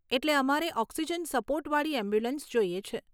એટલે અમારે oxygen support વાળી એમ્બ્યુલન્સ જોઈએ છે.